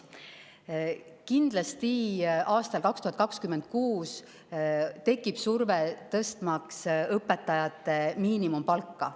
Kindlasti tekib aastal 2026 surve, et tõstetaks õpetajate miinimumpalka.